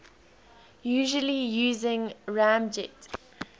usually using ramjet